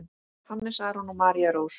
Hannes Aron og María Rós.